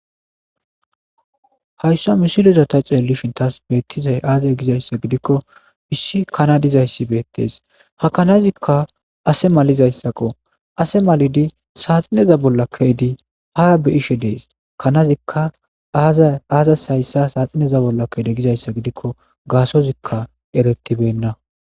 hayssa misiloza ta ceeli shintas beettizay aazey gizayssa gidikko bissi kanadizayssi beettees ha kanazikka ase malizayssaqo ase malidi saaxineza bolla keydi ha be ishe dees kanazikka aazas hayssa saaxineza bolla keede gizayssa gidikko gaasozikka eretibenna